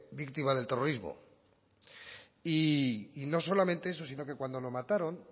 víctima del terrorismo y no solamente eso sino que cuando lo mataron